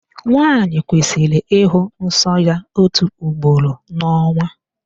Nwaanyị kwesịrị ịhụ nsọ ya ótù ugboro n'ọnwa.